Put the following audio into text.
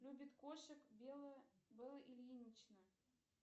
любит кошек белая белла ильинична